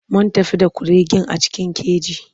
Mun tafi da kuregen a cikin keji.